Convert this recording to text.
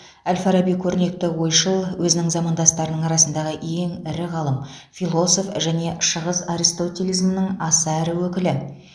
әл фараби көрнекті ойшыл өзінің замандастарының арасындағы ең ірі ғалым философ және шығыс аристотелизмінің аса ірі өкілі